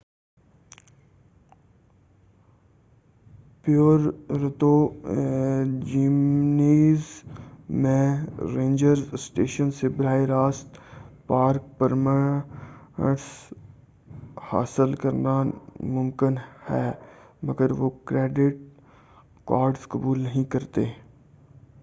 Puerto Jimenez میں ranger station سے براہِ راست پارک پرمٹس حاصل کرنا مُمکن ہے مگر وہ کریڈٹ کارڈز قبول نہیں کرتے